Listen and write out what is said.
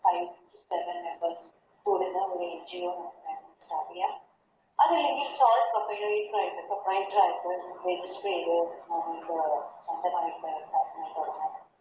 അതല്ലെങ്കിൽ ഇപ്പൊ